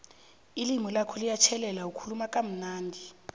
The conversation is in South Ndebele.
ilimi lakho liyatjhelela ukhuluma kamnandi